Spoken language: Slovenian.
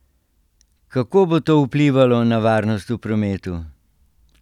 Kako bo to vplivalo na varnost v prometu?